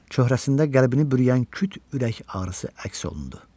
Çöhrəsində qəlbini buruyan küt ürək ağrısı əks olundu.